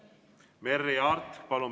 Merry Aart, palun!